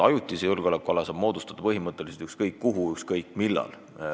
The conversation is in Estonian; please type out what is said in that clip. Ajutise julgeolekuala saab moodustada põhimõtteliselt ükskõik kuhu ükskõik millal.